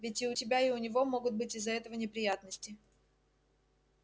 ведь и у тебя и у него могут быть из-за этого неприятности